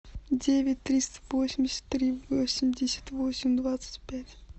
девять триста восемьдесят три восемьдесят восемь двадцать пять